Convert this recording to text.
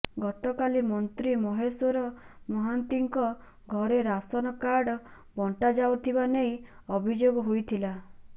ଗତକାଲି ମନ୍ତ୍ରୀ ମହେଶ୍ୱର ମହାନ୍ତିଙ୍କ ଘରେ ରାସନ କାର୍ଡ଼ ବଣ୍ଟା ଯାଉଥିବା ନେଇ ଅଭିଯୋଗ ହୋଇଥିଲା